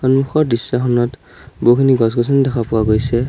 সন্মুখৰ দৃশ্যখনত বহুখিনি গছ-গছনি দেখা পোৱা গৈছে।